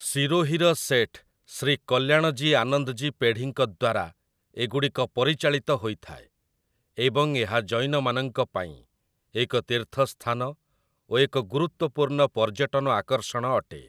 ସିରୋହୀର ସେଠ୍ ଶ୍ରୀ କଲ୍ୟାଣଜୀ ଆନନ୍ଦଜୀ ପେଢ଼ୀଙ୍କ ଦ୍ୱାରା ଏଗୁଡ଼ିକ ପରିଚାଳିତ ହୋଇଥାଏ, ଏବଂ ଏହା ଜୈନମାନଙ୍କ ପାଇଁ ଏକ ତୀର୍ଥସ୍ଥାନ ଓ ଏକ ଗୁରୁତ୍ୱପୂର୍ଣ୍ଣ ପର୍ଯ୍ୟଟନ ଆକର୍ଷଣ ଅଟେ।